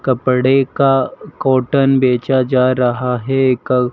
कपड़े का कॉटन बेचा जा रहा है। कल--